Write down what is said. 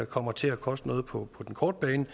kommer til at koste noget på den korte bane